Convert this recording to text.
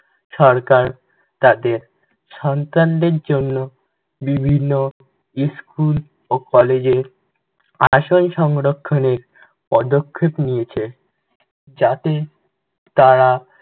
সরকার তাদের সন্তানদের জন্য বিভিন্ন স্কুল ও কলেজের আসন সংরক্ষণের পদক্ষেপ নিয়েছে, যাতে তারা